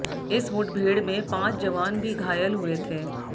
इस मुठभेड़ में पांच जवान भी घायल हुए थे